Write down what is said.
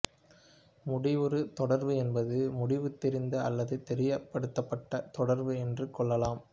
முடிவுறு தொடர்வு என்பது முடிவு தெரிந்த அல்லது தெரியப்படுத்தப்பட்ட தொடர்வு என்று கொள்ளலாம்